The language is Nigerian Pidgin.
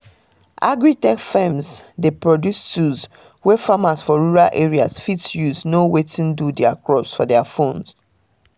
agri-tech firms dey produce tools wey farmers for rural areas fit use know wetin do their crops for their phones